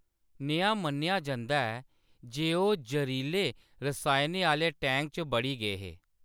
नेहा मन्नेआ जंदा ऐ जे ओह्‌‌ जहरीले रसायनें आह्‌‌‌ले टैंक च बड़ी गे हे।